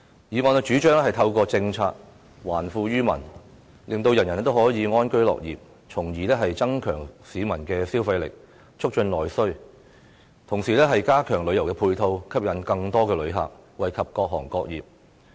議案主張透過政策還富於民，令人人可以安居樂業，從而增強市民的消費力，促進內需；同時加強旅遊配套，吸引更多旅客，惠及各行各業。